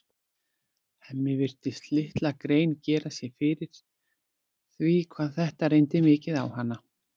Hemmi virtist litla grein gera sér fyrir því hvað þetta reyndi mikið á hana.